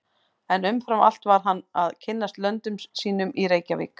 En umfram allt varð hann að kynnast löndum sínum í Reykjavík.